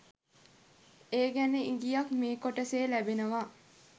ඒ ගැන ඉගියක් මේ කොටසේ ලැබෙනවා